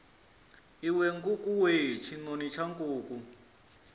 iwe nkukuwe tshinoni tsha nkuku